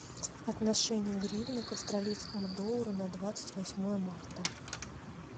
отношения гривны к австралийскому доллару на двадцать восьмое марта